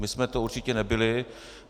My jsme to určitě nebyli.